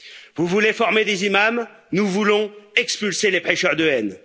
Vous voulez former des imams, nous voulons expulser les prêcheurs de haine.